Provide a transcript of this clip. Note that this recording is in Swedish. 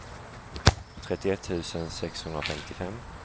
trettioett tusen sexhundrafemtiofem